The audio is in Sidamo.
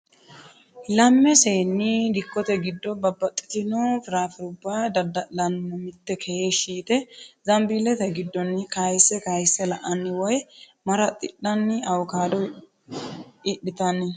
lamme seenni dikotte giddo babaxitino firaafirubba dadda'lanni no mitte heeshi yitte zanbiilete giddonni kayisse kayisse la'anni woyi maraxidhani awukaado idhitanni no.